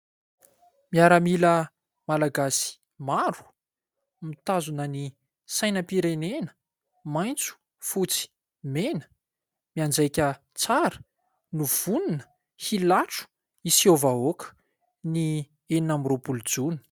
Miaramila Malagasy maro mitazona ny sainam-pirenena maitso fotsy mena, mianjaika tsara no vonona hilatro hiseho vahoaka ny enina amby roapolo jona.